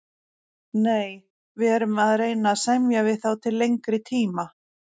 Nei, við erum að reyna að semja við þá til lengri tíma.